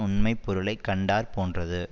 உண்மை பொருளை கண்டாற் போன்றது